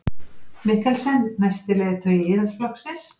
Mikkelsen næsti leiðtogi Íhaldsflokksins